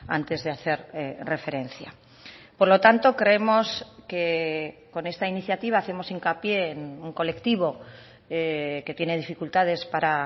antes de hacer referencia por lo tanto creemos que con esta iniciativa hacemos hincapié en un colectivo que tiene dificultades para